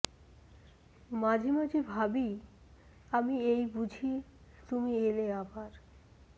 মাঝে মাঝে ভাবি আমি এই বুঝি তুমি এলে আবার